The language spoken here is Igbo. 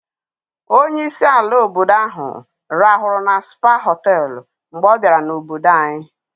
Onye isi ala obodo ahụ rahụrụ na Spa họtelụ mgbe ọ bịara n'obodo anyị.